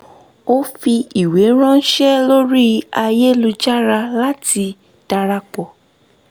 ó fi ìwé ránṣé lórí ayélujára láti darapọ̀